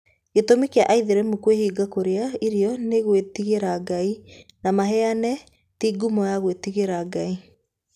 Gĩtũmi kĩa aithĩramu kwĩhinga kũrĩa irio nĩ gwĩtigĩra Ngai, na maheeni ti ngumo ya gwĩtigĩra Ngai.